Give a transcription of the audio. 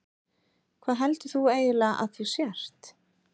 Hvað heldur þú eiginlega að þú sért?